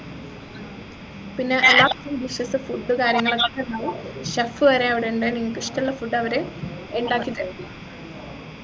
പിന്നെ എല്ലാ dishes food കാര്യങ്ങളൊക്കെ ഇണ്ട് chef വരെ അവിടെ ഉണ്ട് നിങ്ങൾക്കിഷ്ടള്ള food അവര് ഇണ്ടാക്കിത്തരും